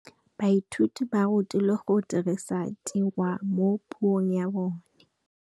Baithuti ba rutilwe go dirisa tirwa mo puong ya bone.